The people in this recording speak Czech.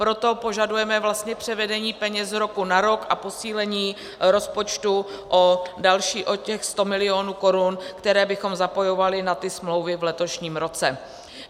Proto požadujeme převedení peněz z roku na rok a posílení rozpočtu o další, o těch 100 milionů korun, které bychom zapojovali na ty smlouvy v letošním roce.